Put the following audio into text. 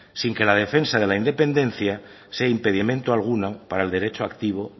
sin que la defensa de la independencia sea impedimento alguno para el derecho activo